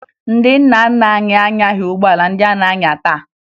Ndị nna nna anyị anyaghị ụgbọala ndị a na-anya taa